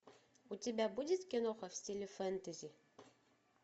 у тебя будет киноха в стиле фэнтези